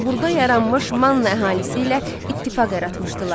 Burada yaranmış Manna əhalisi ilə ittifaq yaratmışdılar.